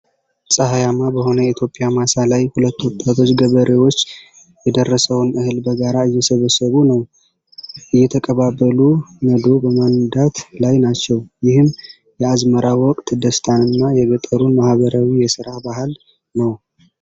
ፀሐያማ በሆነ የኢትዮጵያ ማሳ ላይ፣ ሁለት ወጣት ገበሬዎች የደረሰውን እህል በጋራ እየሰበሰቡ ነው። እየተቀባበሉ ነዶ በማነዳት ላይ ናቸው። ይህም የአዝመራ ወቅት ደስታንና የገጠሩን ማኅበራዊ የሥራ ባህል ነው።